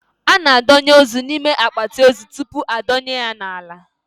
A na a donye ozu n'ime akpati ozu tupu a dọnye ya n'ala